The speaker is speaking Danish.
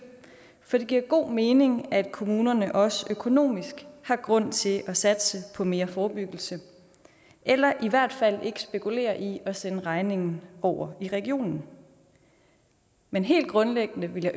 for det giver god mening at kommunerne også økonomisk har grund til at satse på mere forebyggelse eller i hvert fald ikke spekulerer i at sende regningen over i regionen men helt grundlæggende ville